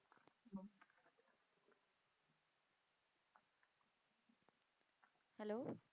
hello